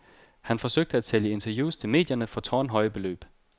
Han forsøgte at sælge interviews til medierne for tårnhøje beløb.